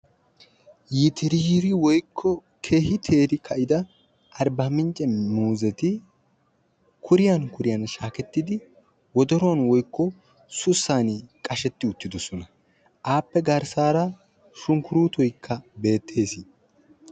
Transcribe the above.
Yitiriri woykko keehi teerida arbbaamincce muuzeti kuriyaan kuriyaan shaakettidi wodoruwaan woykko sussaani qashsheti uttidosona. appe garssaara shunkurutoykka beettees.